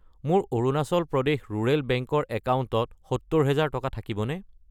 মোৰ Arunachal Pradesh rural bank ৰ একাউণ্টত 70000 টকা থাকিবনে?